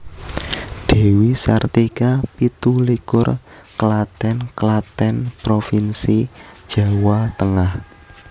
Dewi Sartika pitu likur Klaten Klaten provinsi Jawa Tengah